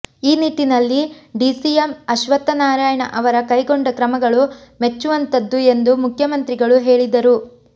ಈ ನಿಟ್ಟಿನಲ್ಲಿ ಡಿಸಿಎಂ ಅಶ್ವತ್ಥನಾರಾಯಣ ಅವರ ಕೈಗೊಂಡ ಕ್ರಮಗಳು ಮೆಚ್ವುವಂತಹದ್ದು ಎಂದು ಮುಖ್ಯಮಂತ್ರಿಗಳು ಹೇಳಿದರು